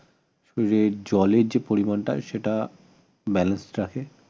শরীরের জলের যে পরিমানটা সেটা balance